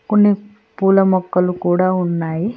కొన్ని పూల మొక్కలు కూడా ఉన్నాయి.